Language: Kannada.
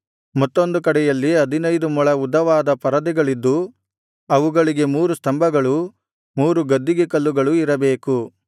ಮತ್ತೊಂದು ಕಡೆಯಲ್ಲಿ ಹದಿನೈದು ಮೊಳ ಉದ್ದವಾದ ಪರದೆಗಳಿದ್ದು ಅವುಗಳಿಗೆ ಮೂರು ಸ್ತಂಭಗಳೂ ಮೂರು ಗದ್ದಿಗೆ ಕಲ್ಲುಗಳು ಇರಬೇಕು